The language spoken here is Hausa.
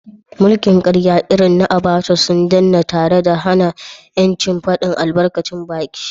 mulkin karya irin Abacha sun danne tare da hana ‘yancin fadin albarkacin baki.